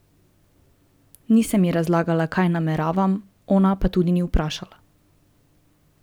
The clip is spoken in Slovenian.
Nisem ji razlagala, kaj nameravam, ona pa tudi ni vprašala.